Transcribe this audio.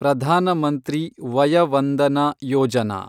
Pradhan Mantri Vaya Vandana Yojana